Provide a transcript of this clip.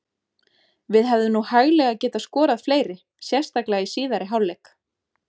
Við hefðum nú hæglega getað skorað fleiri, sérstaklega í síðari hálfleik.